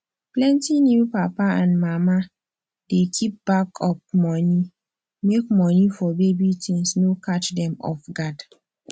plenty new papa and mama dey keep backup money make money for baby things no catch dem off guard